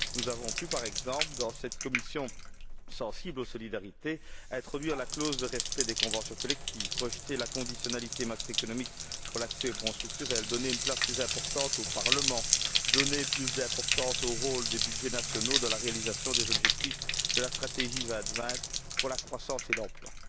Nous avons pu, par exemple, dans cette commission sensible aux solidarités, introduire la clause de respect des conventions collectives, rejeter la conditionnalité macroéconomique pour l'accès aux Fonds structurels, donner une place plus importante au Parlement, donner plus d'importance au rôle des budgets nationaux dans la réalisation des objectifs de la stratégie 2020 pour la croissance et l'emploi.